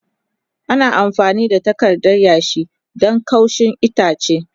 Ana amfani da takarda yashi don kaushin itace.